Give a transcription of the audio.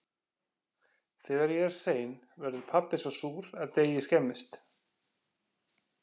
Þegar ég er sein verður pabbi svo súr að deigið skemmist.